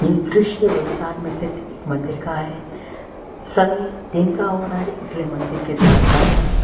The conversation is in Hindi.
ये दृश्य वलसार में स्थित एक मंदिर का है समय दिन का हो रहा है इसलिए मंदिर के द्वार बंद हैं।